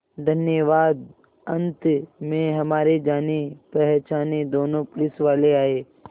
धन्यवाद अंत में हमारे जानेपहचाने दोनों पुलिसवाले आए